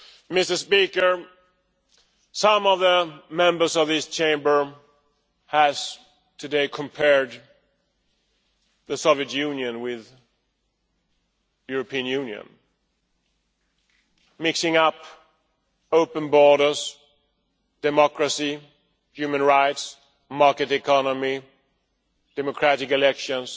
Mr President, some of the Members of this House have today compared the Soviet Union with the European Union, mixing up open borders democracy, human rights, a market economy and democratic elections